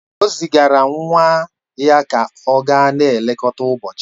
O zigara nwa ya ka ọ gaa na-elekọta ụbọchị